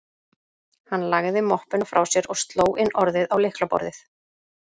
Hann lagði möppuna frá sér og sló inn orðið á lyklaborðið